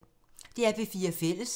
DR P4 Fælles